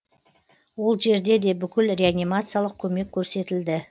ол жерде де бүкіл реанимациялық көмек көрсетілді